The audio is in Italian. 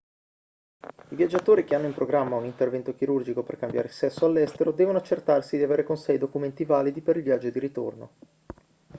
i viaggiatori che hanno in programma un intervento chirurgico per cambiare sesso all'estero devono accertarsi di avere con sé i documenti validi per il viaggio di ritorno